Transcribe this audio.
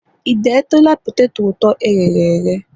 ị detụla poteto ụtọ e ghere eghe ire?